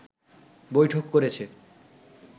বৈঠক করেছে